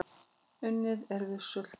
Unnið er við söltun